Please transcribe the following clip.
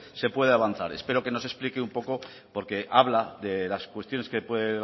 se puede avanzar espero que nos explique un poco porque habla de las cuestiones que puede